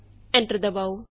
enter ਦਬਾਉ